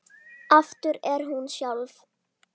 Aftur orðin hún sjálf.